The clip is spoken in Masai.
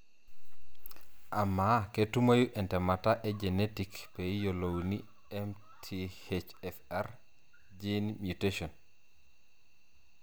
Amaa ketumoyu entemata e genetic peyiolouni MTHFR gene mutation?